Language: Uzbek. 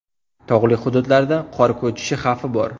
Tog‘li hududlarda qor ko‘chishi xavfi bor.